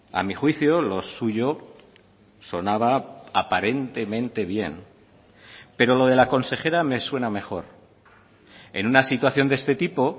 a mi juicio lo suyo sonaba aparentemente bien pero lo de la consejera me suena mejor en una situación de este tipo